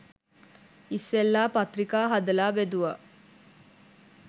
ඉස්සෙල්ලා පත්‍රිකා හදලා බෙදුවා